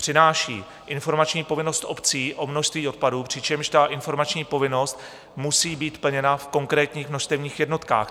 Přináší informační povinnost obcí o množství odpadu, přičemž ta informační povinnost musí být plněna v konkrétních množstevních jednotkách.